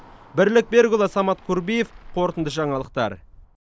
бірлік берікұлы самат курбиев қорытынды жаңалықтар